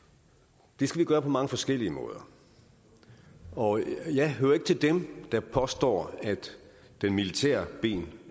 det skal vi gøre på mange forskellige måder og jeg hører ikke til dem der påstår at det militære ben